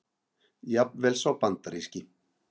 Jafnvel sá bandaríski.